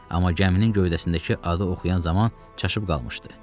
Amma gəminin gövdəsindəki adı oxuyan zaman çaşıb qalmışdı.